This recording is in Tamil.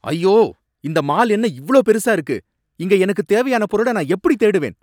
ஐயோ! இந்த மால் என்ன இவ்ளோ பெருசா இருக்கு, இங்க எனக்கு தேவையான பொருள நான் எப்படி தேடுவேன்?